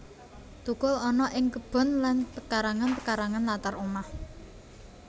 Tukul ana ing kebon lan pekarangan pekarangan latar omah